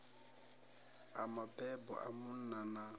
a mabebo a munna na